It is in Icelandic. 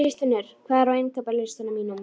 Kristfinnur, hvað er á innkaupalistanum mínum?